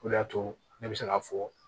O de y'a to ne bɛ se k'a fɔ